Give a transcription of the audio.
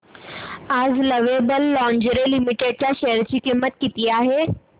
आज lovable lingerie limited च्या share ची किंमत किती आहे